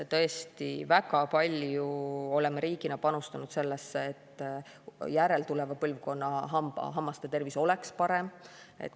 Tõesti, väga palju oleme riigina panustanud sellesse, et järeltuleva põlvkonna hammaste tervis oleks parem.